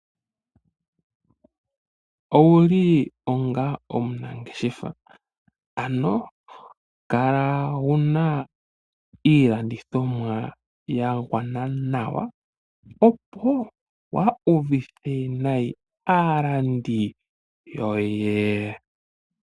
Owuli onga omunangeshefa, ano kala wu na iilandithomwa ya gwana nawa opo waa uvithe nayi aalandi yoye.